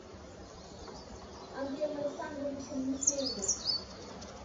андреем александровичем михеевым